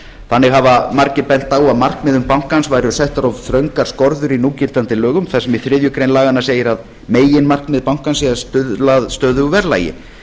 þannig hafa margir bent á að markmiðum bankans væru settar of þröngar skorður í núgildandi lögum þar sem í þriðju grein laganna segir að meginmarkmið bankans sé að stuðla að stöðugu verðlagi